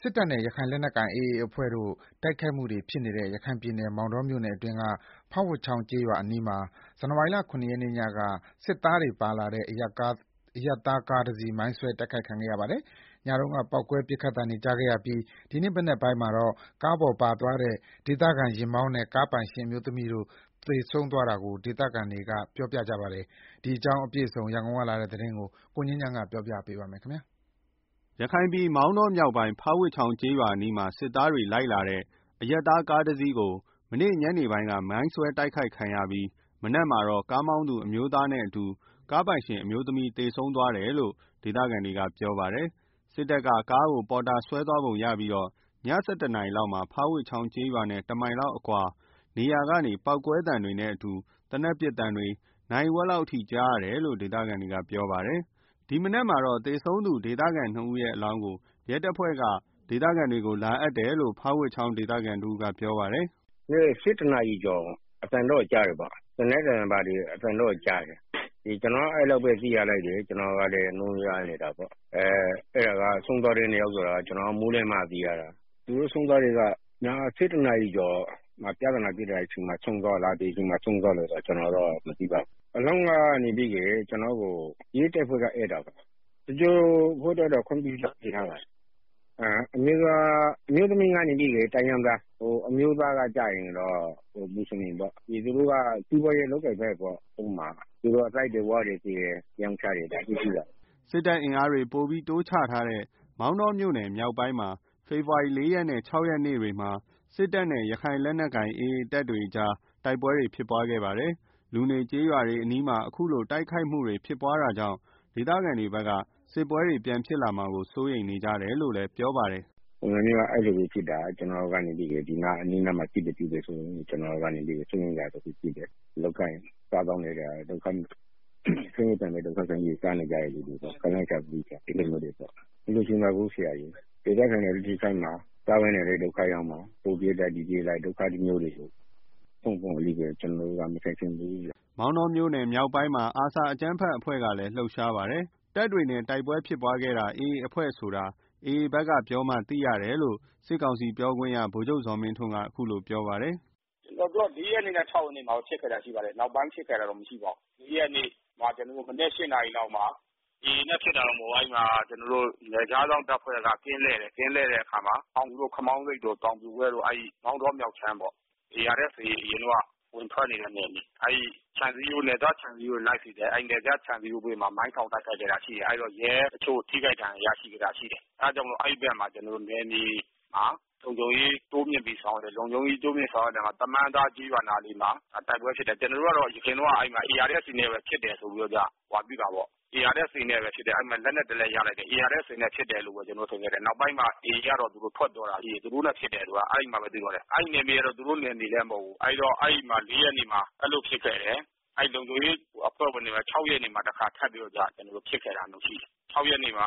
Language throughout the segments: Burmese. စစ်တပ်နဲ့ ရခိုင်လက်နက်ကိုင် AA အဖွဲ့တို့ တိုက်ခိုက်မှုတွေ ပြန်ဖြစ်နေတဲ့ ရခိုင်ပြည်နယ် မောင်တောမြို့နယ်အတွင်းက ဖားဝပ်ချောင်းကျေးရွာအနီးမှာ ဇန်နဝါရီ ၇ ရက်နေ့ ညက စစ်သားတွေ ပါလာတဲ့ အရပ်သားကားတစီး မိုင်းဆွဲတိုက်ခိုက်ခံခဲ့ရပါတယ်။ ညတုန်းက ပေါက်ကွဲ ပစ်ခတ်သံတွေကြားခဲ့ရပြီး ဒီနေ့ မနက်ပိုင်းမှာတော့ ကားပေါ်ပါသွားတဲ့ ဒေသခံ ယာဉ်မောင်းနဲ့ ကားပိုင်ရှင်အမျိုးသမီးတို့ သေဆုံးသွားတာကို ဒေသခံတွေ သိခဲ့ရပါတယ်။ ဒီအကြောင်းအပြည့်အစုံ ရန်ကုန်ကလာတဲ့ သတင်းကို ကိုငြိမ်းချမ်းက တင်ပြပေးထားပါတယ်။ ရခိုင်ပြည် မောင်တောမြောက်ပိုင်း ဖားဝပ်ချောင်းကျေးရွာအနီးမှာ စစ်သားတွေလိုက်လာတဲ့ အရပ်သားကားတစီး မနေ့ညနေပိုင်းက မိုင်းဆွဲတိုက်ခိုက်ခံရပြီး မနက်မှာတော့ ကားမောင်းသူအမျိုးသားနဲ့အတူ ကားပိုင်ရှင်အမျိုးသမီးတဦးသေဆုံးသွားတယ်ဆိုတာ ဒေသခံတွေ သိခဲ့ကြရပါတယ်။ စစ်တပ်က ကားကို ပေါ်တာဆွဲသွားပုံရပြီး ည ၁၁ နာရီလောက်မှာတော့ ဖားဝပ်ချောင်းကျေးရွာနဲ့ တမိုင်လောက်အကွာနေရာကနေ ပေါက်ကွဲသံနဲ့ အတူ သေနတ်ပစ်သံတွေ နာရီဝက်လောက်အထိကြားရတယ်လို့ ဒေသခံတွေက ပြောပါတယ်။ ဒီနေ့ မနက်မှာတော့ သေဆုံးသူ ရွာသား ၂ ယောက် ဒေသခံနှစ်ဦးအလောင်းကို ရဲတပ်ဖွဲ့က ဒေသခံတွေကို လာအပ်တယ်လို့ ဖားဝပ်ချောင်းဒေသခံတဦးကပြောပါတယ်။ “၁၁ နာရီကျော် အသံတော့ ကြားတယ်ပေါ့၊ သေနတ်သံတွေဘာတွေ အသံတော့ကြားတယ်၊ ကျနော်တော့ အဲလောက်ပဲသိတယ်။ ကျနော်တို့တော့ နိုးနိုးကြားကြားနေတာပေါ့၊ အဲဒီဆုံးသွားတဲ့ နှစ်ယောက်က မိုးလင်းမှသိရတာ။ ၁၁ နာရီမှာ ဆုံးတာလား၊ ဘယ်အချိန်မှာ ဆုံးတာလဲတော့ ကျနော်လည်းမသိဘူး၊ အလောင်းကိုတော့ ကျနော့်ကို ရဲတပ်ဖွဲ့က အပ်တာပါ၊ သင်္ဂြိုဟ်ဖို့အတွက်တော့ ခွင့်ပြုချက်တင်ထားပါတယ်၊ အမျိုးသမီးကတိုင်းရင်းသား၊ အမျိုးသားကတော့ မွတ်ဆလင်ပေါ့။ သူတို့က စီးပွားလုပ်ကိုင်ဖက်တွေ။ သစ်တွေ ဝါးတွေတင်တယ်။ ရောင်းချတယ်အဲလိုမျိုးပေါ့။” စစ်တပ်အင်အားတွေ ပိုပြီးတိုးချထားတဲ့ မောင်တောမြို့နယ်မြောက်ပိုင်းမှာ ဖေဖော်ဝါရီလ ၄ ရက်နဲ့ ၆ ရက်နေ့တွေက စစ်တပ်နဲ့ ရခိုင်လက်နက်ကိုင် AA တပ်တွေ တိုက်ပွဲတွေဖြစ်ခဲ့ပါတယ်။ လူနေကျေးရွာတွေအနီးမှာ အခုလို တိုက်ခိုက်မှုတွေ ဖြစ်လာတာကြောင့် ဒေသခံတွေဘက်က စစ်ပွဲတွေ ပြန်ဖြစ်လာမှာကို စိုးရိမ်နေကြတယ်လို့ ပြောပါတယ်။ “တိုက်ပွဲကရွာအနီးအနားမှာဖြစ်တယ်ဆိုတော့ ကျနော်တို့ကနေပြီးတော့ စိုးရိမ်စရာတခုရှိ တယ်။ ဆင်းရဲဒုက္ခခံပြီးတော့ လုပ်ကိုင်စားသောက်နေကြတဲ့သူတွေ၊ တိုက်ပွဲဖြစ်တာတော့ မလိုချင်ပါဘူး၊ ဒေသခံတွေလည်း ထိခိုက်မှာ၊ စားဝတ်နေရေးတွေလည်း ထိခိုက်မှာ။ ဟိုပြေး လိုက် ဒီပြေးလိုက်နဲ့ ဒုက္ခမျိုးတွေကို ကျနော်တို့က မခံချင်ဘူးဗျာ။” မောင်တောမြို့နယ်မြောက်ပိုင်းမှာ ARSA အကြမ်းဖက်အဖွဲ့လည်း လှုပ်ရှားပါတယ်။ တပ်တွေနဲ့ တိုက်ပွဲဖြစ်တာ AA ဆိုတာ AA ဘက်ကပြောမှ သိတယ်လို့ စစ်ကောင်စီပြောခွင့်ရ ဗိုလ်ချုပ်ဇော်မင်းထွန်းက ခုလိုပြောပါတယ်။ “ကျနော်တို့က လေးရက်နေ့နဲ့ခြောက်ရက်နေ့မှာတော့ ဖြစ်ခဲ့တာရှိပါတယ်၊ နောက်ပိုင်းဖြစ်ခဲ့တာတော့မရှိဘူး။ ၄ ရက်နေ့ မနက်ပိုင်း ၈နာရီလောက်မှာ နယ်ခြားစောင့်တပ်ဖွဲ့က ကင်းလှည့် တယ်၊ ကင်းလှည့်တဲ့အခါမှာ ခမောင်းဆိပ်တို့ တောင်ပြိုဘက်တို့- မောင်တော မြောက်ခြမ်းပေါ့၊ ARSA အရင်တုန်းက ဝင်ထွက်နေတဲ့ နယ်မြေ။ နယ်စပ်ခြံစည်းရိုးဘေးမှာ မိုင်းထောင်တိုက် ခိုက်တာတွေ၊ ရဲအချို့ ထိခိုက်ဒဏ်ရာရရှိခဲ့တာ ရှိတယ်။ အဲဒါကြောင့် အဲဒီဘက်မှာ နယ်မြေလုံခြုံရေး တိုးမြှင့်ဆောင်ရွက်တာရှိတယ်။ တမန်းသား ကျေးရွာနားမှာ တိုက်ပွဲဖြစ်တာရှိတယ်။ ကျနော်တို့ ယခင်က ARSA နဲ့ ဖြစ်တယ်ဆိုပြီးတော့ ဟိုဟာပြုတာပေါ့၊ အဲဒီမှာလက်နက်တစ် လက်ရတယ်။ နောက်ပိုင်း AA ကတော့ ထွက်ပြောတာ သူတို့နဲ့ ဖြစ်တယ်ဆိုတာ။ အဲမှာပဲ သိတော့တယ်။ အဲဒီနယ်မြေက သူတို့နယ်မြေလည်း မဟုတ်ဘူး၊ ၄ ရက်နေ့မှာ အဲလိုဖြစ်ခဲ့တယ်။ လုံခြုံရေးတပ်ဖွဲ့ဝင်တွေနဲ့ ၆ ရက်နေ့မှာ တခါဖြစ်ခဲ့တာရှိတယ်၊ နေ့ခ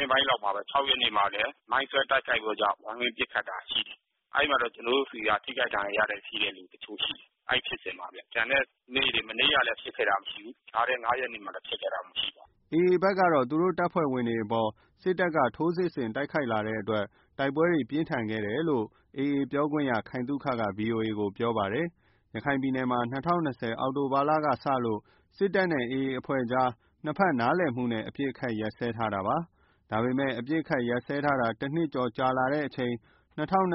င်းပိုင်းလောက်မှာပဲ မိုင်းဆွဲတိုက်ခိုက်ပြီးတော့ ပစ်ခတ်ကြတာရှိတယ်။ အဲဒီမှာ ကျနော်တို့ဆီက ထိခိုက်ဒဏ်ရာရတဲ့ လူတချို့ရှိတယ်၊ မနေ့ကလည်း ဖြစ်ခဲ့တာမရှိဘူး။ ကျန်တဲ့ ၅ ရက်နေ့ကလည်း ဖြစ်ခဲ့တာမရှိဘူး။” AA ဘက်ကတော့ သူတို့ တပ်ဖွဲ့ဝင်တွေအပေါ် စစ်တပ်က ထိုးစစ်ဆင်တိုက်ခိုက်လာတဲ့အတွက် တိုက်ပွဲတွေပြင်းထန်ခဲ့တယ်လို့ ပြောခွင့်ရ ခိုင်သုခက ဗွီအိုအေကို ပြောခဲ့ပါတယ်။ ရခိုင်ပြည်နယ်မှာ ၂၀၂၀ အောက်တိုဘာလကစလို့ စစ်တပ်နဲ့ AA အဖွဲ့တို့ကြား ၂ ဘက်နားလည်မှှုနဲ့ အပစ်အခတ်ရပ်စဲထားခဲ့ပါတယ်။ ဒါပေမဲ့ အပစ်အခတ်ရပ်စဲထားတာ ၁ နှစ်ကျော်ကြာချိန် ၂၀၂၁ ခုနှ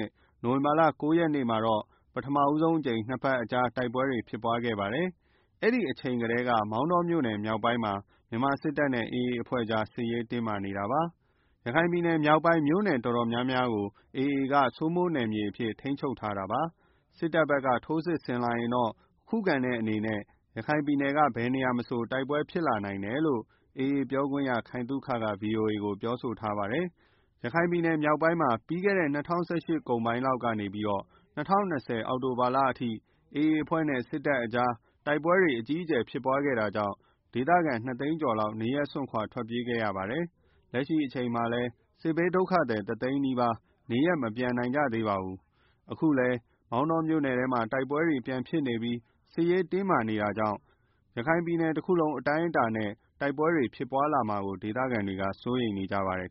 စ် နိုဝင်ဘာလ ၉ ရက်နေ့မှာတော့ ပထမဆုံးအကြိမ် ၂ ဘက်ကြား တိုက်ပွဲတွေပြန်ဖြစ်ပါတယ်။ အဲဒီကတည်းက မောင်တောမြို့နယ်မြောက်ပိုင်းမှာ မြန်မာစစ်တပ်နဲ့ AA အဖွဲ့ကြား စစ်ရေးတင်းမာနေတာပါ။ ရခိုင်ပြည်နယ် မြောက်ပိုင်း မြို့နယ်တော်တော်များများမှာ AA က ထိန်းချုပ်နယ်မြေစိုးမိုးထားပါတယ်။ စစ်တပ်ဘက်က ထိုးစစ်ဆင်လာရင်တော့ ခုခံတဲ့အနေနဲ့ ရခိုင်ပြည်နယ်က ဘယ်နေရာမဆို တိုက်ပွဲဖြစ်လာနိုင်တယ်လို့ AA ပြောခွင့်ရ ခိုင်သုခက ဗွီအိုအေကို ပြောဆိုထားပါတယ်။ ရခိုင်ပြည်နယ်မြောက်ပိုင်းမှာ ပြီးခဲ့တဲ့ ၂၀၁၈ အကုန်ပိုင်းလောက်ကနေ ၂၀၂၀ ခုနှစ် အောက်တိုဘာအထိ AA အဖွဲ့နဲ့ စစ်တပ်ကြား တိုက်ပွဲတွေ အကြီးအကျယ် ဖြစ်ခဲ့တာကြောင့် ဒေသခံ ၂ သိန်းကျော်လောက် နေရပ်စွန့်ခွာ ထွက်ပြေးခဲ့ရပါတယ်။ လက်ရှိအချိန်ထိလည်း စစ်ဘေးဒုက္ခသည် ၁ သိန်းနီးပါးနေရပ် မပြန်နိုင်ကြသေးပါဘူး။ အခုလည်း မောင်တောမြို့နယ် ထဲမှာ တိုက်ပွဲတွေပြန်ဖြစ်နေပြီး စစ်ရေးတင်းမာနေတာကြောင့် ရခိုင်ပြည်နယ်တခုလုံး အတာနဲ့ တိုက် ပွဲတွေ ဖြစ်ပွားလာမှာကို ဒေသခံတွေ စိုးရိမ်နေကြပါတယ်